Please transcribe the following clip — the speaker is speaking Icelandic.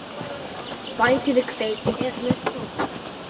Bætið við hveiti ef með þarf.